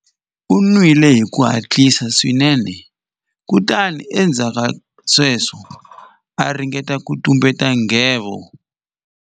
U nwile hi ku hatlisa swinene kutani endzhaku ka sweswo a ringeta ku tumbeta nghevo.